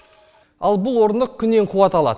ал бұл орындық күннен қуат алады